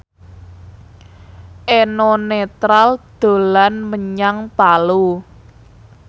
Eno Netral dolan menyang Palu